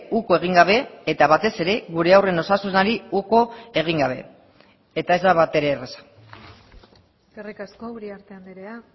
uko egin gabe eta batez ere gure haurren osasunari uko egin gabe eta ez da batere erraza eskerrik asko uriarte andrea